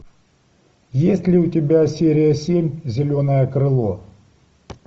есть ли у тебя серия семь зеленое крыло